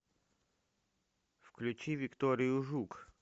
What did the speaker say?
включи викторию жук